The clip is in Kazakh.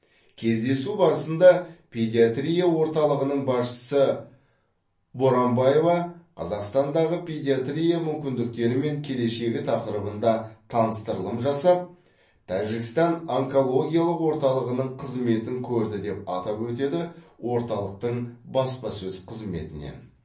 кездесу барысында педиатрия орталығының басшысы боранбаева қазақстандағы педиатрия мүмкіндіктері мен келешегі тақырыбында таныстырылым жасап тәжікстан онкологиялық орталығының қызметін көрді деп атап өтеді орталықтың баспасөз қызметінен